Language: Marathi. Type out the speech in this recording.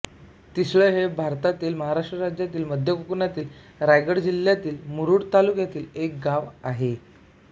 तिसळे हे भारतातील महाराष्ट्र राज्यातील मध्य कोकणातील रायगड जिल्ह्यातील मुरूड तालुक्यातील एक गाव आहे